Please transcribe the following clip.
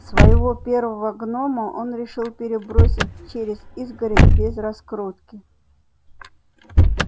своего первого гнома он решил перебросить через изгородь без раскрутки